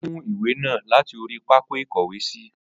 O mú ìwé náà láti orí pákó ìkówèésí.